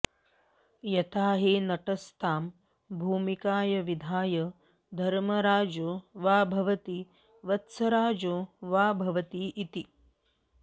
यथाहि नटस्तां भूमिकाम विधाय धर्मराजो वा भवति वत्सराजो वा भवति इति